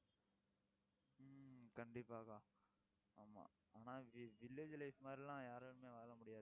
ஹம் கண்டிப்பாக அக்கா ஆமா ஆனா vi~village life மாதிரி எல்லாம் யாராலுமே வாழமுடியாது